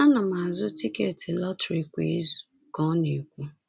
“Ana m azụ tiketi lọtrị kwa izu,” ka ọ na-ekwu.